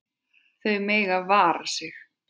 Þau mega vara sig.